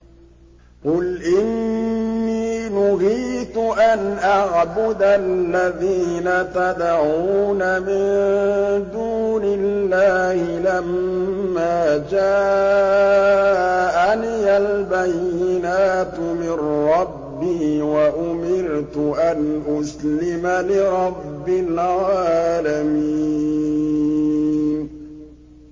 ۞ قُلْ إِنِّي نُهِيتُ أَنْ أَعْبُدَ الَّذِينَ تَدْعُونَ مِن دُونِ اللَّهِ لَمَّا جَاءَنِيَ الْبَيِّنَاتُ مِن رَّبِّي وَأُمِرْتُ أَنْ أُسْلِمَ لِرَبِّ الْعَالَمِينَ